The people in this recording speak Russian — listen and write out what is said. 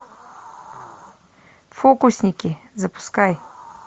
фокусники запускай